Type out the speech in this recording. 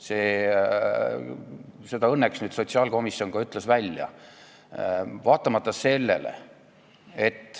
Selle õnneks ütles nüüd välja ka sotsiaalkomisjon.